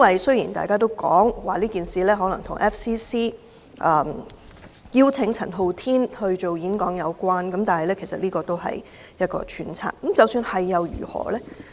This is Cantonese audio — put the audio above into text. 雖然大家也說這件事可能與香港外國記者會邀請陳浩天演講有關，但這只是揣測，即使有關又如何呢？